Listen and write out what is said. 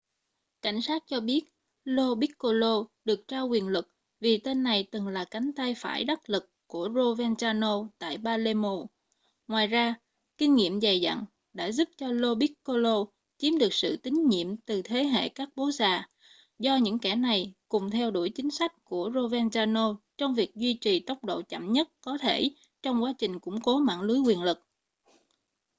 cảnh sát cho biết lo piccolo được trao quyền lực vì tên này từng là cánh tay phải đắc lực của provenzano tại palermo ngoài ra kinh nghiệm dày dặn đã giúp lo piccolo chiếm được sự tín nhiệm từ thế hệ các bố già do những kẻ này cùng theo đuổi chính sách của provenzano trong việc duy trì tốc độ chậm nhất có thể trong quá trình củng cố mạng lưới quyền lực